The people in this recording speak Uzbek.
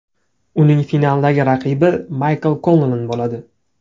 Uning finaldagi raqibi Maykl Konlan bo‘ladi.